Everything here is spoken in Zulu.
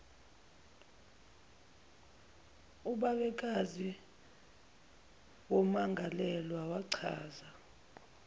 ubabekazi wommangalelwa wachaza